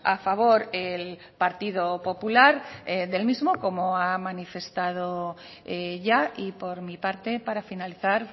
a favor el partido popular del mismo como ha manifestado ya y por mi parte para finalizar